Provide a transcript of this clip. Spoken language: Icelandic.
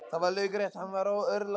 Það var laukrétt, hann var örlátur.